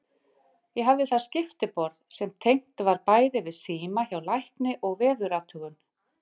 Ég hafði þar skiptiborð sem tengt var bæði við síma hjá lækni og veðurathugun.